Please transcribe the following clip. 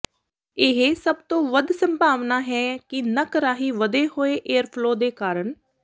ਇਹ ਸਭ ਤੋਂ ਵੱਧ ਸੰਭਾਵਨਾ ਹੈ ਕਿ ਨੱਕ ਰਾਹੀਂ ਵਧੇ ਹੋਏ ਏਅਰਫਲੋ ਦੇ ਕਾਰਨ